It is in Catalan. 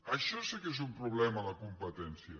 això sí que és un problema a la competència